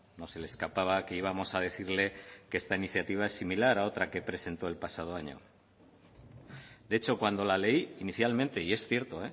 no se le escapaba que íbamos a decirle que esta iniciativa es similar a otra que presentó el pasado año de hecho cuando la leí inicialmente y es cierto